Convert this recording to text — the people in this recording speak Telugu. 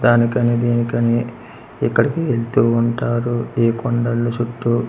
దానికని దినికని ఇక్కడికి వెళ్తూ ఉంటారు ఈ కొండల్లో చుట్టూ--